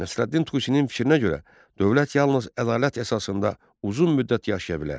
Nəsrəddin Tusinin fikrinə görə dövlət yalnız ədalət əsasında uzun müddət yaşaya bilər.